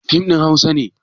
Fim ɗin hausa ne?